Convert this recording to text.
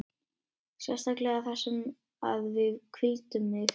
Sérstaklega þar sem að við hvíldum mig.